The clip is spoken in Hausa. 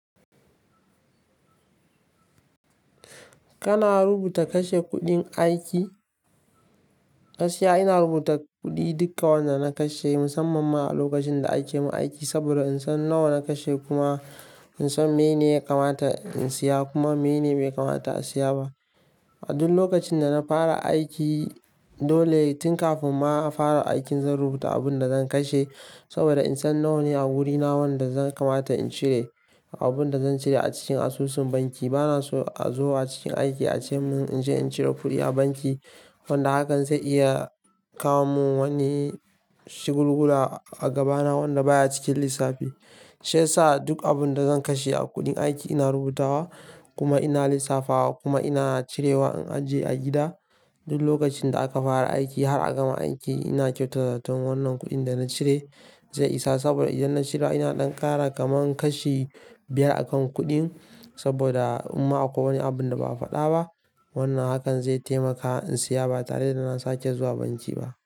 Kana rubuta kashe kuɗin aiki? Gaskiya ina rubuta kuɗi duka wanda na kashe musamman ma a lokacin da ake min aiki, saboda in san nawa na kashe kuma in san mene ya kamata in siya kuma mene bai kamata in siya ba. A duk lokacin da na fara aiki dole tin kafin ma a fara aikin zan rubuta abun da zan kashe, saboda in san nawa ne a wurina wanda zan kamata in cire, abun da zan cire a cikin asusun banki. Bana so a zo a cikin aiki a ce mun in je in cire kuɗi a banki wanda hakan zai iya kawo mun wani shugulgula a gaba na wanda baya cikin lissafi. Sai sa duk abun da zan kashe a kuɗin aiki ina rubuta wa, kuma ina lissafa wa, kuma ina cirewa in ajiye a gida. Duk lokacin da aka fara aiki har a gama aiki ina kyautata zaton wannan kuɗin dana cire zai isa, saboda idan na cirewa ina ɗan ƙara kaman kashi biyar akan kuɗin saboda in ma akwai wani abun da ba a faɗa ba wannan hakan zai taimaka in siya ba tare da na sake zuwa banki ba.